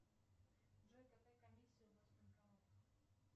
джой какая комиссия у вас в банкоматах